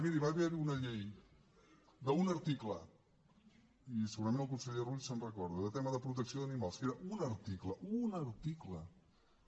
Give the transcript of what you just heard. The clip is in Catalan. miri va haver hi una llei d’un article i segurament el conseller rull se’n recorda de tema de protecció d’animals que era un article un article